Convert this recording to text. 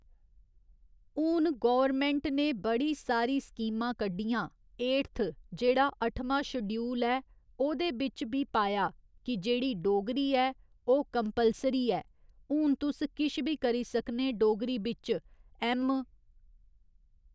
हुन गौरमैंट ने बड़ी सारी स्कीमां कड्ढियां एडथ जेह्ड़ा अठमां शडूयल ऐ ओह्दे बिच्च बी पाया कि जेह्ड़ी डोगरी ऐ ओह् कम्पलसरी ऐ हून तुस किश बी करी सकने डोगरी बिच्च ऐम्म.